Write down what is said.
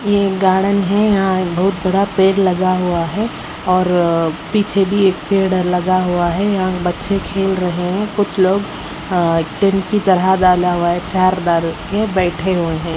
ये गार्डन है यहां एक बहुत बड़ा पेड़ लगा हुआ है और पीछे भी एक पेड़ लगा हुआ है यहां बच्चे खेल रहे हैं कुछ लोग अ टेंट की तरह की डाला हुआ है चार डाल रखे हैं बैठे हुए हैं।